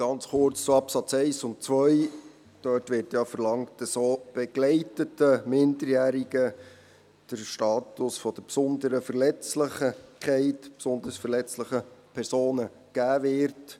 Ganz kurz zu den Absätzen 1 und 2: Dort wird verlangt, dass auch begleiteten Minderjährigen der Status der besonderen Verletzlichkeit, der besonders verletzlichen Personen, gegeben wird.